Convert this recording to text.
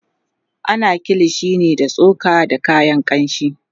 ana kilishi ne da tsoka da kayan kamshi